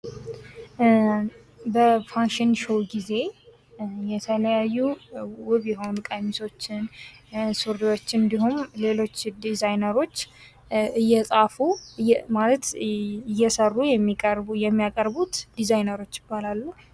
በፋሽን ሾው ጊዜ የተለያዩ ውብ የሆኑ ሱሪዎቸን እና ቀሚሶችን እንዲሁም ሌሎች ዲዛኖችን እየሰሩ የሚያቀርቡት ዲዛይነሮች ይባላሉ፡፡